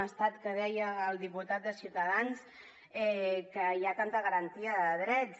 un estat en què deia el diputat de ciutadans que hi ha tanta garantia de drets